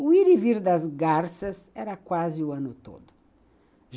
O ir e vir das garças era quase o ano todo.